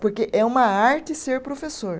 Porque é uma arte ser professor.